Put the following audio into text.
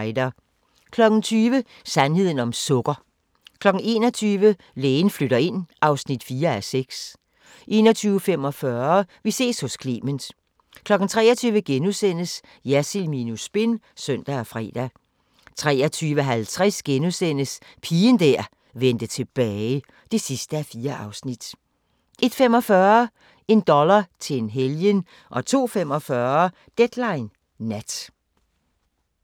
20:00: Sandheden om sukker 21:00: Lægen flytter ind (4:6) 21:45: Vi ses hos Clement 23:00: Jersild minus spin *(søn og fre) 23:50: Pigen der vendte tilbage (4:4)* 01:45: En dollar til en helgen 02:45: Deadline Nat